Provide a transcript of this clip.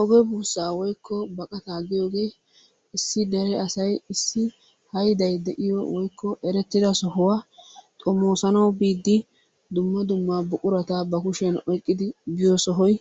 Oge buussaa woykko baqataa giyoogee issi dere asay issi hayday de'iyo woykko eretida sohuwa xomoosanawu biiddi dumma dumma buqurata ba kushiyan oykkidi biyo sohoy